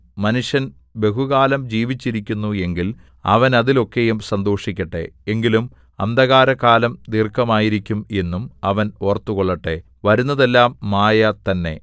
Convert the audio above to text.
മനുഷ്യൻ ബഹുകാലം ജീവിച്ചിരിക്കുന്നു എങ്കിൽ അവൻ അതിൽ ഒക്കെയും സന്തോഷിക്കട്ടെ എങ്കിലും അന്ധകാരകാലം ദീർഘമായിരിക്കും എന്നും അവൻ ഓർത്തുകൊള്ളട്ടെ വരുന്നതെല്ലാം മായ തന്നെ